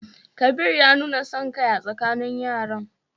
Kabir ya nuna son kai a tsakanin yaran.